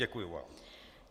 Děkuji vám.